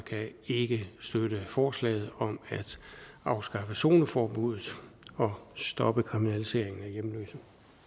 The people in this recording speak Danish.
ikke kan støtte forslaget om at afskaffe zoneforbuddet og stoppe kriminaliseringen af hjemløse